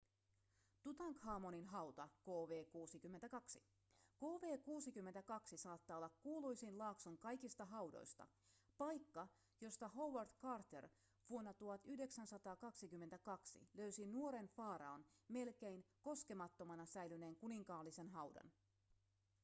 tutankhamonin hauta kv62. kv62 saattaa olla kuuluisin laakson kaikista haudoista paikka josta howard carter vuonna 1922 löysi nuoren faraon melkein koskemattomana säilyneen kuninkaallisen haudan